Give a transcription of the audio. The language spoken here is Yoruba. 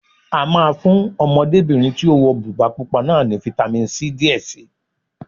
A máa fún Ọmọdébìnrin tí ó wọ bùbá pupa náà ní fitamisi C díẹ̀ si